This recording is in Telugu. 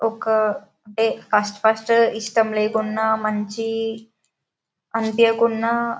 ఒక అంటే ఫస్ట్ ఫస్ట్ ఇష్టం లేకున్నా మంచి అనిపియ్యకున్న--